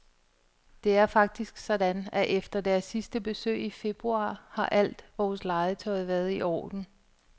Det er faktisk sådan, at efter deres sidste besøg i februar har alt vores legetøj været i orden.